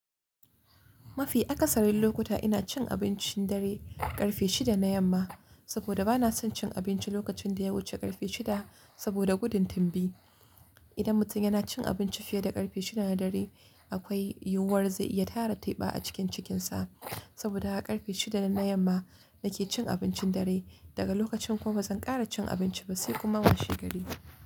Mafi akasarin lokuta ina cin abincin dare ƙarfe shida na yamma, saboda bana son cin abinci lokacin da ya wuce ƙarfe shida saboda gudun timbi. Idan mutum yana cin abinci fiye da ƙarfe shida na dare akwai yiwuwar zai iya tara teɓa a cikin cikinsa. Saboda haka ƙarfe shida na yamma nake cin abincin dare. Daga lokacin kuma bazan ƙara cin abinci ba sai kuma mashi gari.